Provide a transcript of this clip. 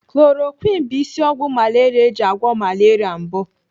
Chloroquine bụ isi ọgwụ malaria eji agwọ malaria mbụ.